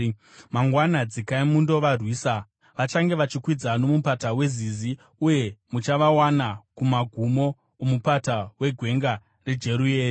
Mangwana dzikai mundovarwisa. Vachange vachikwidza nomuMupata weZizi uye muchavawana kumagumo omupata muGwenga reJerueri.